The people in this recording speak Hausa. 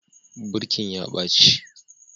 Birkin ya ɓaci